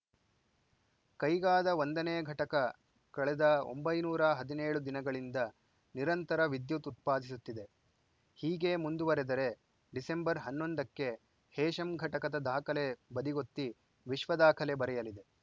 ಕೈಗಾದ ಒಂದನೇ ಘಟಕ ಕಳೆದ ಒಂಬೈನೂರ ಹದಿನೇಳು ದಿನಗಳಿಂದ ನಿರಂತರ ವಿದ್ಯುತ್‌ ಉತ್ಪಾದಿಸುತ್ತಿದೆ ಹೀಗೆ ಮುಂದುವರಿದರೆ ಡಿಸೆಂಬರ್ ಹನ್ನೊಂದಕ್ಕೆ ಹೇಶಮ್‌ ಘಟಕದ ದಾಖಲೆ ಬದಿಗೊತ್ತಿ ವಿಶ್ವ ದಾಖಲೆ ಬರೆಯಲಿದೆ